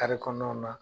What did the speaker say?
kɔnɔnaw na